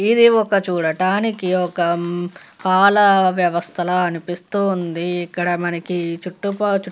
ఇది ఒక చూడటానికి ఒక పాల వ్యవస్థ లాగా అనిపిస్తుంది ఇక్కడ మనకి చుట్టుపక్ చుట్టు --